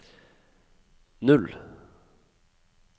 null